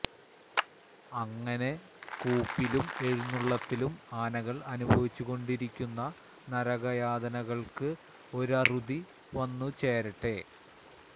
അങ്ങനെ കൂപ്പിലും എഴുന്നളളത്തിലും ആനകള് അനുഭവിച്ചുകൊണ്ടിരുന്ന നരക യാതനകള്ക്ക് ഒരറുതി വന്നുചേരട്ടെ